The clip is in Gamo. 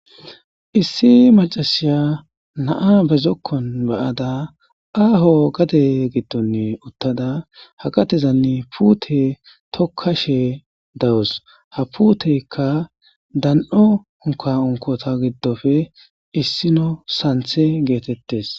Issi maccasiya na7aa ba zokkuwan ba7ada aaho gadee giddoni uththada ha gadezani puuthee thokkashee dawus;ha puutheekka dan7o unkkaa unkkotha giddope issino sanththee geetheththees.